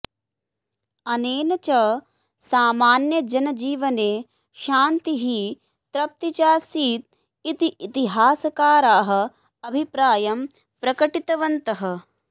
अनेन च सामान्यजनजीवने शान्तिः तृप्तिचासीत् इति इतिहासकाराः अभिप्रायं प्रकटितवन्तः